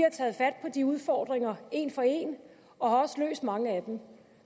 har de udfordringer en for en og har også løst mange af dem og